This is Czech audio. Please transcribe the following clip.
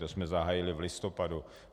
To jsme zahájili v listopadu.